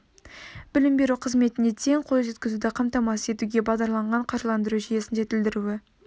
білім беру қызметіне тең қол жеткізуді қамтамасыз етуге бағдарланған қаржыландыру жүйесін жетілдіру